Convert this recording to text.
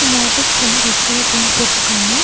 இந்த ஆஃபீஸ்க்குள்ள red colour paint போட்ருக்காங்க.